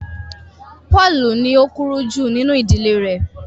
Paulu ní o kúrú ju nínú ìdílé rẹ